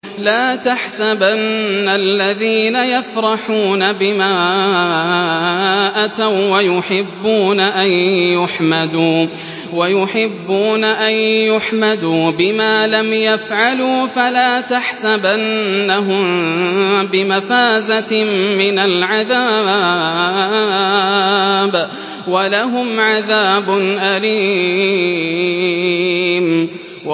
لَا تَحْسَبَنَّ الَّذِينَ يَفْرَحُونَ بِمَا أَتَوا وَّيُحِبُّونَ أَن يُحْمَدُوا بِمَا لَمْ يَفْعَلُوا فَلَا تَحْسَبَنَّهُم بِمَفَازَةٍ مِّنَ الْعَذَابِ ۖ وَلَهُمْ عَذَابٌ أَلِيمٌ